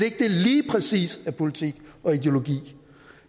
ikke lige præcis er politik og ideologi